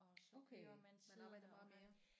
Okay man arbejder bare mere